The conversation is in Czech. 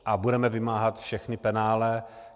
A budeme vymáhat všechna penále.